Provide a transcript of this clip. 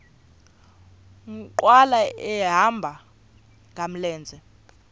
nkqwala ehamba ngamlenze